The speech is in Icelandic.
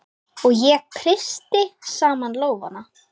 Og ég kreisti saman lófana.